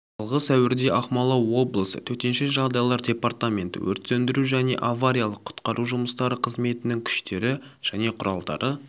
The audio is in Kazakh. жылғы сәуірде ақмола облысы төтенше жағдайлар департаменті өрт сөндіру және авариялық-құтқару жұмыстары қызметінің күштері және құралдары